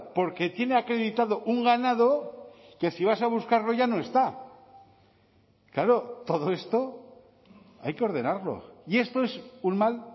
porque tiene acreditado un ganado que si vas a buscarlo ya no está claro todo esto hay que ordenarlo y esto es un mal